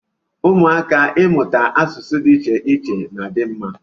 Ụmụaka Ịmụta asụsụ dị iche iche na-adi mma.